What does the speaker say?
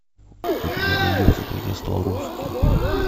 у тебя найдется как я стал русским